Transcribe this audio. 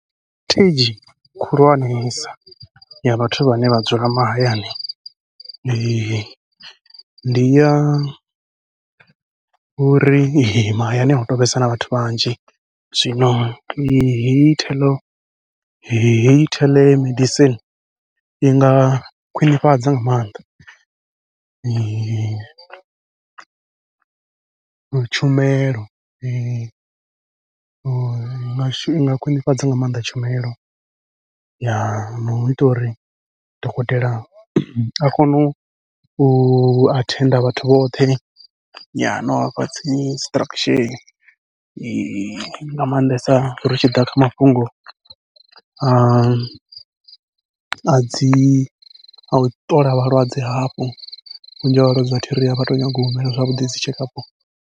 khulwanesa ya vhathu vhane vha dzula mahayani, ndi ya uri mahayani ahu tu vhesa na vhathu vhanzhi zwino hei theḽo hei theḽemedicine i nga khwiṋifhadza nga maanḓa, tshumelo mashudu i nga khwiṋifhadza nga maanḓa tshumelo. no ita uri dokotela a kone u u athenda vhathu vhoṱhe, no vhafha dzi instruction nga maanḓesa ri tshi ḓa kha mafhungo a a dzi au ṱola vhalwadze hafhu vhunzhi ha vhalwadze athi ri avha tou nyanga u humela zwavhuḓi dzi tshekapu.